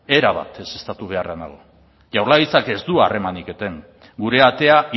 erabat ezeztatu beharrean nago jaurlaritzak ez du harremanik eten gure atea